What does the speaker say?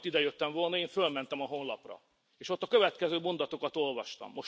Én ma, mielőtt idejöttem volna, felmentem a honlapra, és ott a következő mondatokat olvastam.